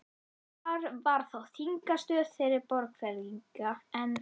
Þar var þá þingstöð þeirra Borgfirðinga, en